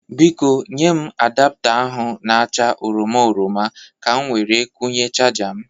Biko, nye m adapta ahụ na-acha oroma oroma ka m were kwụnye chaja m